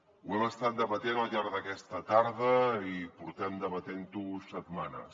ho hem estat debatent al llarg d’aquesta tarda i portem debatent ho setmanes